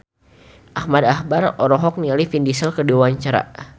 Ahmad Albar olohok ningali Vin Diesel keur diwawancara